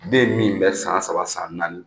Den min bɛ san saba ani san naani